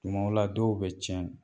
Tumaw la dɔw be tiɲɛ